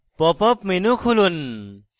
pop up menu খুলুন